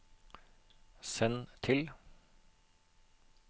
send til